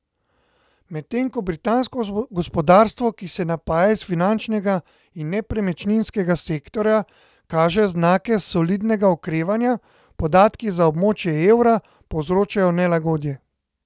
Medtem ko britansko gospodarstvo, ki se napaja iz finančnega in nepremičninskega sektorja, kaže znake solidnega okrevanja, podatki za območje evra povzročajo nelagodje.